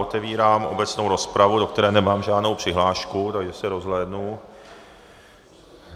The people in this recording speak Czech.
Otevírám obecnou rozpravu, do které nemám žádnou přihlášku, takže se rozhlédnu.